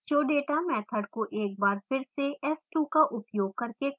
showdata method को एक बार फिर से s2 का उपयोग करके कॉल किया जा सकता है